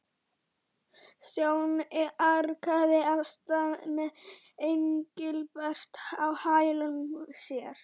Stjáni arkaði af stað með Engilbert á hælum sér.